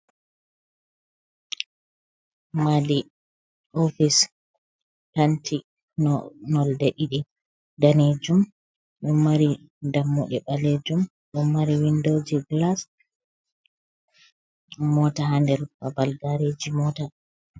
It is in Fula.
Madii ofis tanti nolde ɗiɗi danejum ɗo mari dammuɗe ɓalejum, ɗo mari windoji gilas, mota ha nder babal gaareji mota.